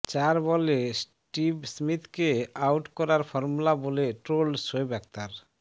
চার বলে স্টিভ স্মিথকে আউট করার ফরমুলা বলে ট্রোলড শোয়েব আখতার